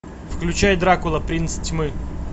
включай дракула принц тьмы